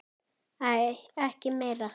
Æi, ekki meira!